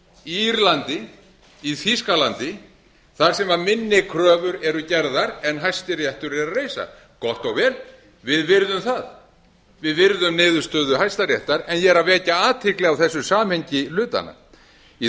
í írlandi í þýskalandi þar sem minni kröfur eru gerðar en hæstiréttur er að reisa gott og vel við virðum það við virðum niðurstöðu hæstaréttar en ég er að vekja athygli á þessu samhengi hlutanna í